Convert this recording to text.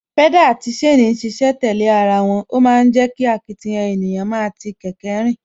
Pedal àti chain ń ṣiṣẹ́ tẹ̀lé ara wọn, ó ma ń jẹ́ kí akitiyan ènìyàn máa ti kẹ̀kẹ́ rìn